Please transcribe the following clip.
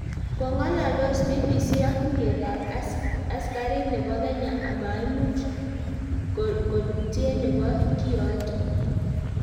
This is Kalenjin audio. kongoldos BBC ak tuyeetab askanait nebo Kenya amaiimuch kolutyet nebo kiyoto